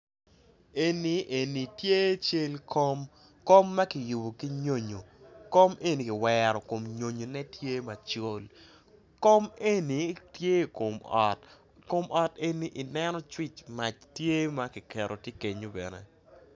Eni eni tye cal kom kom makiyubo ki nyonyo kom eni kiwero kom nyonyo ne tye macol kom eni tye i kom ot kom ot eni i neno switch mac tye makiketo tye kenyo bene.